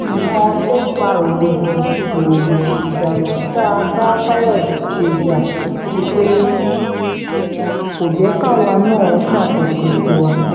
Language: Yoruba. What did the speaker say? nǹkan tó fa rògbòdìyàn kò síjà tá a bá fayọ̀ṣe jà ju pé kó jẹ́ káwa náà ṣàkóso tiwa